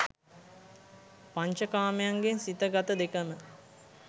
පංච කාමයන්ගෙන් සිත, ගත දෙකම